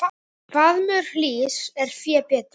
Askja getur átt við